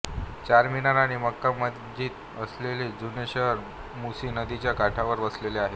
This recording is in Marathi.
चारमिनार आणि मक्का मस्जिदअसलेले जुने शहर मुसी नदीच्या काठावर वसलेले आहे